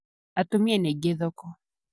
Atumia nĩaingĩ thoko.